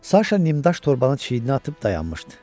Saşa Nimdaş torbanı çiyninə atıb dayanmışdı.